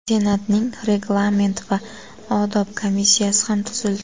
Senatning Reglament va odob komissiyasi ham tuzildi.